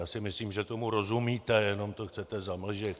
Já si myslím, že tomu rozumíte, jenom to chcete zamlžit.